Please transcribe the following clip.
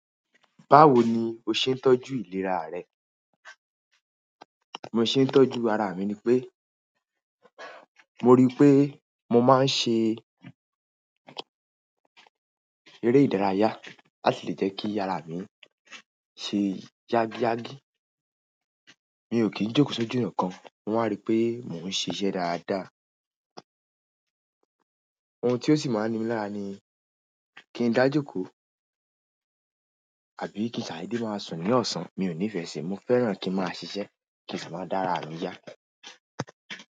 Báwo ni o ṣe ń tọ́jú ìlera rẹ? Mo ṣe ń tọ́jú ara mi ni pé, mo rí i pé mo máa ń ṣe eré ìdárayá. Á sì lè jẹ́ kí ara mi ṣe yágíyágí. Mi ò kí ń jókòó sójú ọ̀nà kan. Wọ́n á rí pé mò ń ṣiṣẹ́ dáadáa. Ohun tí ó sì máa ń ní mi lára ni kí n dájókòó àbí kí n ṣadede máa sùn ní ọ̀sán. Mi ò nifẹ́ síi. Mo fẹ́ràn kin ma ṣiṣẹ́ ki n si maa da ara mi ya.